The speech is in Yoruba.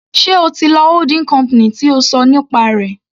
Sé o ti lọ holding company tí o ṣọ nípa rẹ̀.